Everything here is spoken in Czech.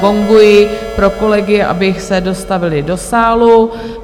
Gonguji pro kolegy, aby se dostavili do sálu.